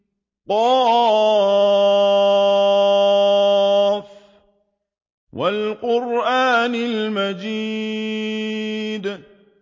ق ۚ وَالْقُرْآنِ الْمَجِيدِ